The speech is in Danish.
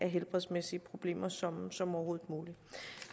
helbredsmæssige problemer som som overhovedet muligt